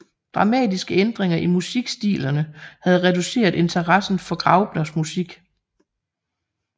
Dramatiske ændringer i musikstilerne havde reduceret interessen for Graupners musik